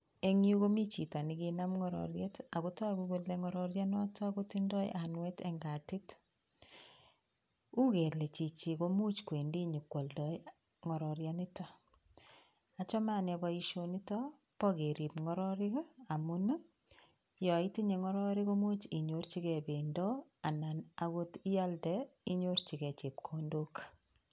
En yu komi chito ne kanam ng'ororyet, ago togo kole ng'ororyenoto kotindo anwet en katit. Uu kele chichi komuch kwendi nyikwoldo ng'ororyanito. Achame anee boishonito bo kerib ng'ororek ii, amun yon itinye ng'ororek komuch inyorjige bendo anan agot ialde inyorji ge chepkondok.